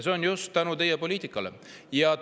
Seda just tänu teie poliitikale!